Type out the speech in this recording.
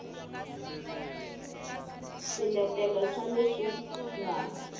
b swiletelo swa leswi nga